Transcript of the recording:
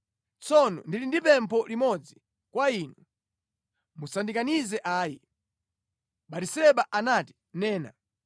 Tsono ndili ndi pempho limodzi kwa inu. Musandikanize ayi.” Batiseba anati, “Nena.”